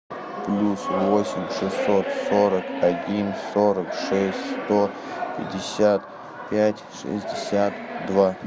плюс восемь шестьсот сорок один сорок шесть сто пятьдесят пять шестьдесят два